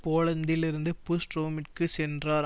போலந்தில் இருந்து புஷ் ரோமிற்கு சென்றார்